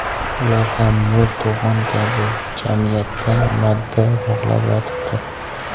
Ular ham mo‘rt to‘g‘on kabi jamiyatda madda bog‘lab yotibdi.